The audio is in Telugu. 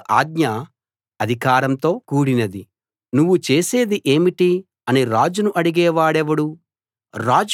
రాజుల ఆజ్ఞ అధికారంతో కూడినది నువ్వు చేసేది ఏమిటి అని రాజును అడిగే వాడెవడు